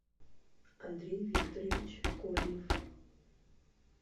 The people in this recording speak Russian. андрей викторович корнев